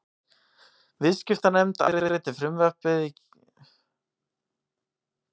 Myndirnar sem þarna eru teknar eru þó allt annarrar gerðar en röntgenmyndir sem flestir þekkja.